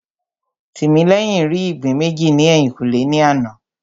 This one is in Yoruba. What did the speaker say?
Tìmílẹ́yìn rí ìgbín méjì ní ẹ̀yìnkùlé ní àná